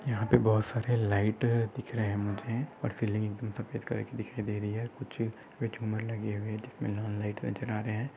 यहाँ पे बहुत सारे लाइट दिख रहे मुझे और सीलिंग भी सफ़ेद कलर की दिखाई दे रही है कुछ झुंबर लगे हुए जिसने और लाल लाइटे जला रहे है।